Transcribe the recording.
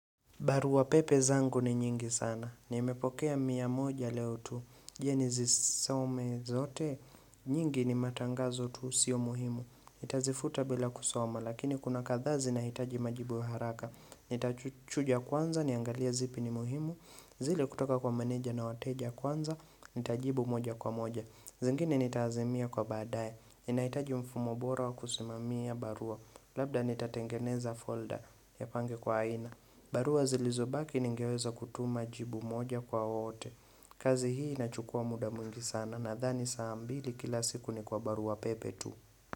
Barua pepe zangu ni nyingi sana. Nimepokea miya moja leo tu. Je, nizisome zote? Nyingi ni matangazo tu sio muhimu. Nitazifuta bila kusoma. Lakini kuna kadhaa zinahitaji majibu ya haraka. Nitachujia kwanza niangalia zipi ni muhimu. Zile kutoka kwa maneja na wateja kwanza. Nitajibu moja kwa moja. Zingine nitazimia kwa baadaye. Ninaitaji mfumo bora wa kusimamia barua. Labda nitatengeneza folder nipange kwa aina. Barua zilizobaki ningeweza kutuma jibu moja kwa ote. Kazi hii inachukua muda mwingi sana nadhani saa mbili kila siku ni kwa barua pepe tu.